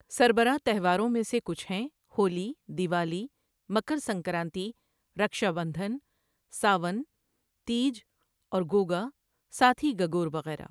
سربراہ تہواروں میں سے کچھ ہیں ہولی، دیوالی، مکر سنکرانتی، رکشابدھن، ساون، تیج اور گوگا، ساتھی، گگور وغیرہ۔